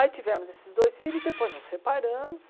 Aí tivemos esses dois filhos, depois nos separamos.